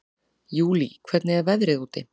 Júlí, hvernig er veðrið úti?